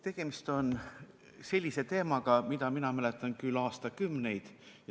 Tegemist on sellise teemaga, mida mina mäletan küll juba aastakümneid.